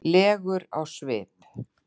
legur á svip.